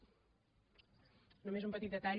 només un petit detall